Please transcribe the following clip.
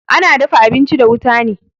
Ana dafa abinchi da wuta ne